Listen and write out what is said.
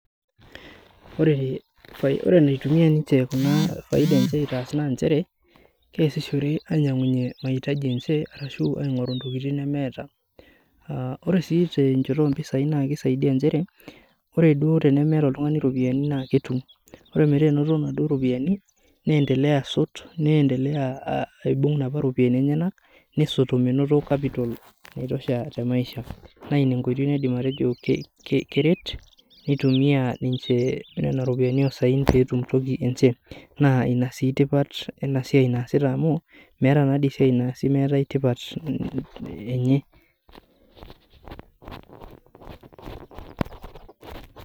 Ore enaasishore ninche kuna faida naa kitumiya ninche ainyangunyie maitaji enche ontoking nemeeta. Ore sii tenchoto ompisai naa kisaidia nchere ,ore duo tenemeeta oltungani roopiyiani naa ketum. Ore metaa enoto naduo ropiyiani, neendelea asotu neendelea aibung naduo ropiyiani enyenenak ,nesot menoto capital[vcs] naitosha temaisha. Naa ina enkoitoi naidim atejo keret nitumiya ninche nena ropiyiani osaen pee etum ninche toki enche. Naa ina sii tipat ena siai naasita amu, meeta naadi esiai naasi meeta tipat enye.